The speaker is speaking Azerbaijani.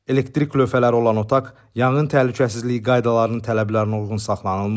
Elektrik lövhələri olan otaq yanğın təhlükəsizliyi qaydalarının tələblərinə uyğun saxlanılmır.